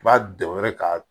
I b'a dɔn yɛrɛ k'a